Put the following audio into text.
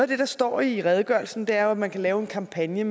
det der står i redegørelsen er jo at man kan lave en kampagne